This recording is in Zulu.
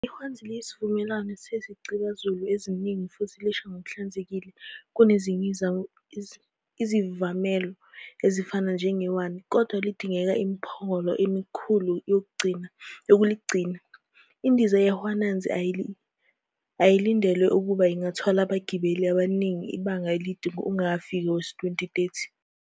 IHwanzi liyisivamelo sezicibazulu eziningi futhi lisha ngokuhlanzekile kunezinye izivamelo ezifana nejawani, kodwana lidinga imiphongolo elikhulu yokuligcina. Indiza yeHwanzi ayilindelwe ukuba ingathwala abagibeli abaningi ibanga elide ungakafiki owezi-2030.